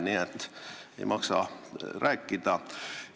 Nii et ei maksa muud rääkida.